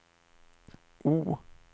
O